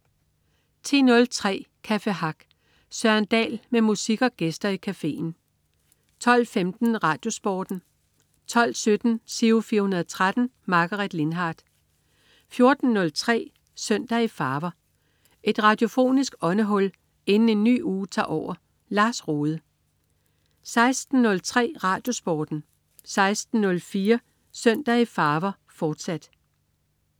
10.03 Café Hack. Søren Dahl med musik og gæster i cafeen 12.15 RadioSporten 12.17 Giro 413. Margaret Lindhardt 14.03 Søndag i farver. Et radiofonisk åndehul inden en ny uge tager over. Lars Rohde 16.03 RadioSporten 16.04 Søndag i farver, fortsat